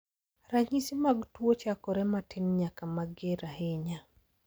Ranyisi mag tuo chakore matin nyaka mager ahinya.